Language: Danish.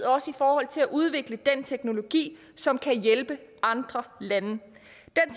også i forhold til at udvikle den teknologi som kan hjælpe andre lande den